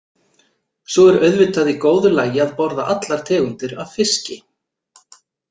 Svo er auðvitað í góðu lagi að borða allar tegundir af fiski.